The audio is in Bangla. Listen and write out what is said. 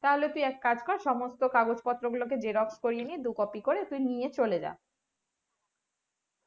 তাহলে তুই এক কাজ কর সমস্ত কাগজ কাগজ পত্র গুলো কে xerox করিয়ে নিয়ে দু copy করে তুই নিয়ে চলে যা